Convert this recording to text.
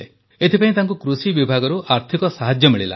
ଏଥିପାଇଁ ତାଙ୍କୁ କୃଷି ବିଭାଗରୁ ଆର୍ଥିକ ସାହାଯ୍ୟ ମିଳିଲା